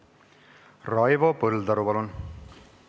Raivo Põldaru, palun!